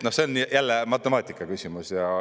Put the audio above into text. See on jälle matemaatika küsimus.